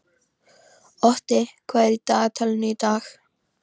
Otti, hvað er í dagatalinu í dag?